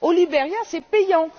au Liberia, c'est payant.